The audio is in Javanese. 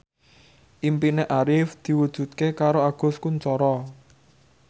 impine Arif diwujudke karo Agus Kuncoro